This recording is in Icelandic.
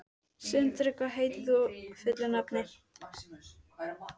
Sindri, hvað heitir þú fullu nafni?